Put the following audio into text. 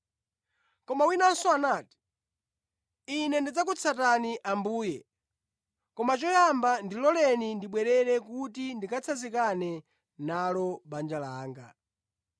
Koma winanso anati, “Ine ndidzakutsatani Ambuye; koma choyamba ndiloleni ndibwerere kuti ndikatsanzikane nalo banja langa.”